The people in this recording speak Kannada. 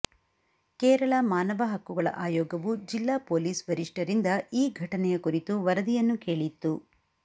ಕೇರಳ ಮಾನವ ಹಕ್ಕುಗಳ ಆಯೋಗವು ಜಿಲ್ಲಾ ಪೊಲೀಸ್ ವರಿಷ್ಠರಿಂದ ಈ ಘಟನೆಯ ಕುರಿತು ವರದಿಯನ್ನು ಕೇಳಿತ್ತು